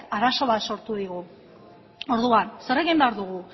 arazo bat sortu digula orduan zer egin behar dugu